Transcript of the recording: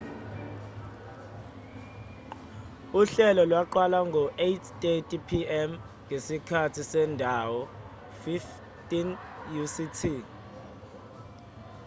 uhlelo lwaqala ngo-8:30 p.m. ngesikhathi sendawo 15.00 utc